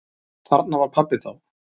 Þarna var pabbi þá.